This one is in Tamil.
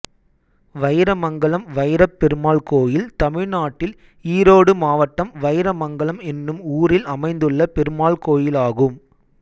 வைரமங்கலம் வைரப்பெருமாள் கோயில் தமிழ்நாட்டில் ஈரோடு மாவட்டம் வைரமங்கலம் என்னும் ஊரில் அமைந்துள்ள பெருமாள் கோயிலாகும்